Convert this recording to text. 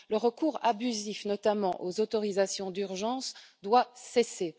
Le recours abusif, notamment, aux autorisations d'urgence doit cesser.